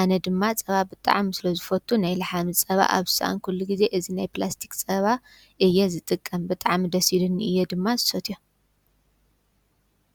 ።ኣነ ድማ ፀባ ብጣዕሚ ስለ ዝፈቱ ናይ ላሕሚ ፀባ ኣብ ዝሰኣንኩሉ ግዜ እዚ ናይ ፕላስቲክ ፀባ እየ ዝጥቀም። ብጣዕሚ ደስ ኢሉኒ እየ ድማ ዝሰትዮ ።